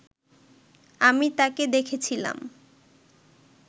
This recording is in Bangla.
আমি তাকে দেখেছিলাম